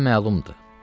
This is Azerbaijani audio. Hadisə məlumdur.